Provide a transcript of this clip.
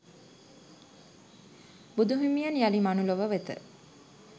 බුදුහිමියන් යළි මනුලොව වෙත